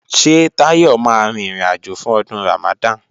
Ṣé Táyọ̀ máa rin ìrìnàjò fún Ọdún Ramadan?